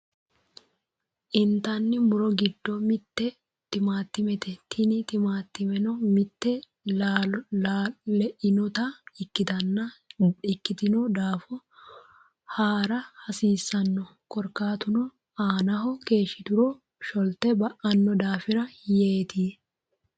Intanni muro giddo mitte tumaatumete. Tini tumaatumeno mite le'inota ikkitino daafo haara hasiissano. Korkaatuno aanaho keeshshituro sholte ba'anno daafira yeeti.